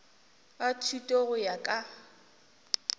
a thuto go ya ka